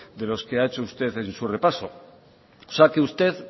de los que ha hecho usteden su repaso o sea que usted